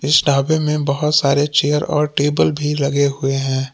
इस ढाबे मे बहुत सारे चेयर और टेबल भी लगे हुए हैं।